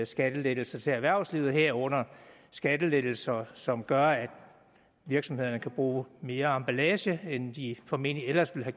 skattelettelser til erhvervslivet herunder skattelettelser som gør at virksomhederne kan bruge mere emballage end de formentlig ellers ville